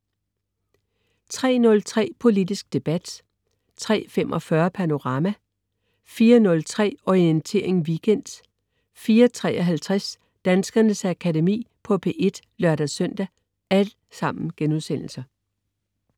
03.03 Politisk debat* 03.45 Panorama* 04.03 Orientering Weekend* 04.53 Danskernes Akademi på P1* (lør-søn)